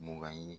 Mugan ɲi